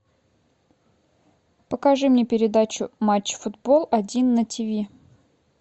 покажи мне передачу матч футбол один на тв